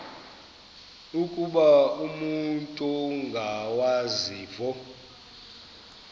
ukuba umut ongawazivo